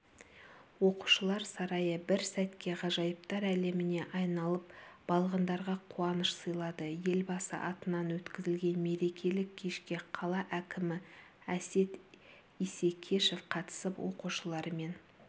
оқушылар сарайы бір сәтке ғажайыптар әлеміне айналып балғындарға қуаныш сыйлады елбасы атынан өткізілген мерекелік кешке қала әкімі әсет исекешев қатысып оқушылармен